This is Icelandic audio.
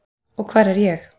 Og hvar var ég?